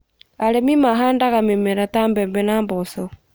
Arĩmi mahandaga mĩmera ta mbembe na mboco